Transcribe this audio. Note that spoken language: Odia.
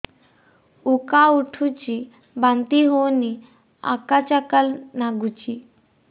ଉକା ଉଠୁଚି ବାନ୍ତି ହଉନି ଆକାଚାକା ନାଗୁଚି